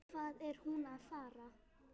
Hvað er hún að fara?